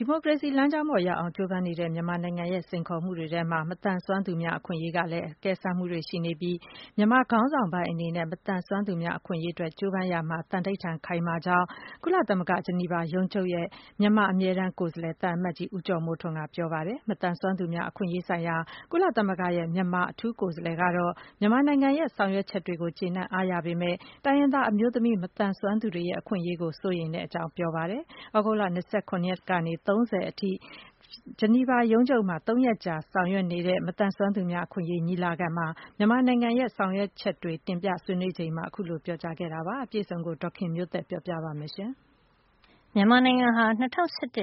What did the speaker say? ီမိုကရေစီလမ်းကြောင်းပေါ် လျှောက်လှမ်းဖို့ ကြိုးပမ်းနေတဲ့ မြန်မာနိုင်ငံအတွက် ကြုံနေရတဲ့စိန်ခေါ်မှု အများအပြားထဲမှာ မသန်စွမ်းသူများ အခွင့်ရေးဆိုင်ရာမှာ အကဲစမ်းမှုတွေလည်း ပါဝင်နေတာ ဖြစ်ပြီး မြန်မာခေါင်းဆောင်ပိုင်းအနေနဲ့ မသန်စွမ်းသူများ အခွင့်ရေးအတွက် ကြိုးပမ်းရာမှာ သန္နိဋ္ဌာန် ခိုင်မာမှုရှိတယ်လို့ ကုလသမဂ္ဂ ဂျနီဗာရုံးချုပ်ရဲ့ မြန်မာအမြဲတမ်းကိုယ်စားလှယ် သံအမတ်ကြီး ဦးကျော်မိုးထွန်းက ပြောပါတယ်။ မသန်စွမ်းသူများ အခွင့်ရေးဆိုင်ရာ ကုလသမဂ္ဂရဲ့ မြန်မာအထူးကိုယ်စားလှယ်ကတော့ မြန်မာနိုင်ငံရဲ့ လုပ်ဆောင်ချက်တွေကို ကျေနပ် အားရပေမယ့် တိုင်းရင်းသား ဒေသတွေမှာ အမျိုးသမီး မသန်စွမ်းသူတွေ ရဲ့ အခွင့်ရေးနဲ့ ပတ်သက်ရင်တော့ စိုးရိမ်မှုတွေ ရှိတယ်လို့ ပြောပါတယ်။ သြဂုတ်လ ၂၇ ရက်နေ့ကနေ ၃၀ ရက်နေ့အထိ ကုလသမဂ္ဂ ဂျနီဗာရုံးချုပ်မှာ ၃ ရက်ကြာပြုလုပ်တဲ့ မသန်စွမ်းသူများ အခွင့်ရေးအတွက် မြန်မာနိုင်ငံရဲ့ လုပ်ဆောင်ချက်တွေကို တင်ပြဆွေးနွေးချိန်မှာ အခုလို ပြောကြားခဲ့တာပါ။ အပြည့်အစုံကို ဒေါ်ခင်မျိုးသက်က ပြောပြပေးမှာပါ။ မြန်မာနိုင်ငံက ၂၀၁၁ ခုနှစ်